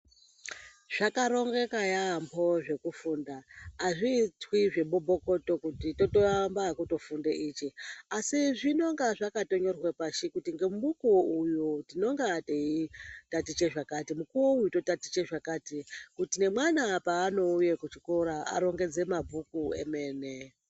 Zvakarongeka yaamho zvekufunda hazvitwi zvemubokoto kuti toamba nekutofunda ichi. Asi zvinonga zvakatonyorwa pashi kuti nomukuvo uvu tinonga teitaticha zvekati, mukuvo uvu tinenge totatiche zvakati kuti nemwana paanouya kuchikora arongedze mabhuku emene.